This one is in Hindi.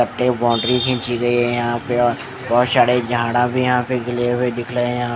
बाउंड्री खींची गई है यहां पे अ बहोत सारे झाड़ा भी यहां पे गिले हुए दिख रहे यहां--